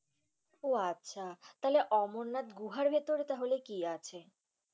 উহ আচ্ছা। তাহলে, অমরনাথ গুহার ভিতরে তাহলে কি আছে?